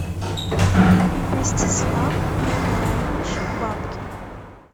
ростислав николаевич бабкин